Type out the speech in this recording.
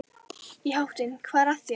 Í háttinn, hvað er að þér?